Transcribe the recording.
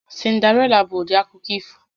Cinderella bụ ụdị akụkọ ifo